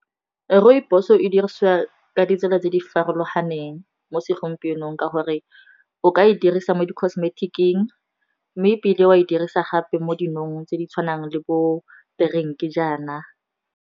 Rooibos-o e dirisiwa ka ditsela tse di farologaneng mo segompienong ka gore o ka e dirisa mo di cosmetic-ing, mme e bile wa e dirisa gape mo dinong tse di tshwanang le bo drink-e jana.